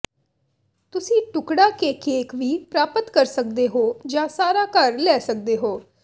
ਤੁਸੀਂ ਟੁਕੜਾ ਕੇ ਕੇਕ ਵੀ ਪ੍ਰਾਪਤ ਕਰ ਸਕਦੇ ਹੋ ਜਾਂ ਸਾਰਾ ਘਰ ਲੈ ਸਕਦੇ ਹੋ